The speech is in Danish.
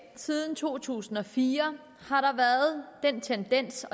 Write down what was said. siden to tusind og fire har været en tendens